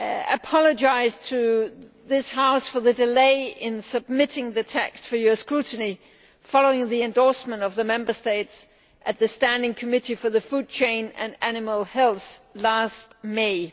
I apologise to this House for the delay in submitting the text for your scrutiny following the endorsement of the Member States in the Standing Committee for the Food Chain and Animal Health last May.